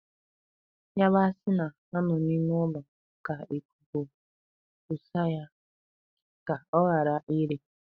Yabasi na-anọ n'ime ụlọ ka ikuku kuse ya ka ọghara ire.